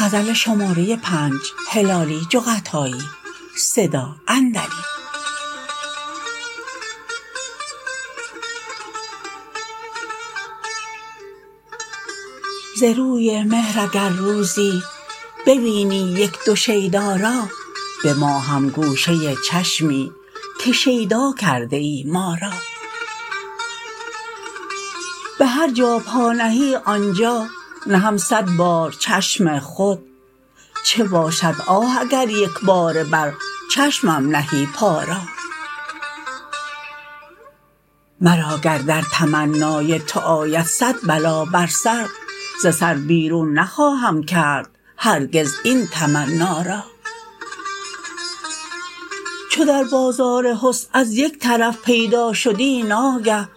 ز روی مهر اگر روزی ببینی یک دو شیدا را به ما هم گوشه چشمی که شیدا کرده ای ما را به هر جا پا نهی آن جا نهم صد بار چشم خود چه باشد آه اگر یک باره بر چشمم نهی پا را مرا گر در تمنای تو آید صد بلا بر سر ز سر بیرون نخواهم کرد هرگز این تمنا را چو در بازار حسن از یک طرف پیدا شدی ناگه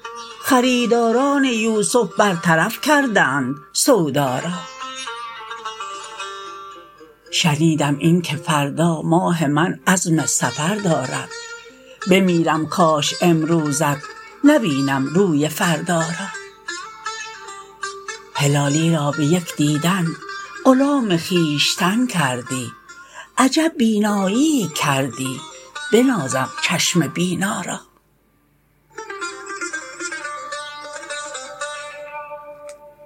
خریداران یوسف برطرف کردند سودا را شنیدم این که فردا ماه من عزم سفر دارد بمیرم کاش امروزت نبینم روی فردا را هلالی را به یک دیدن غلام خویشتن کردی عجب بیناییی کردی بنازم چشم بینا را